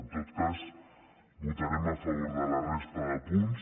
en tot cas votarem a favor de la resta de punts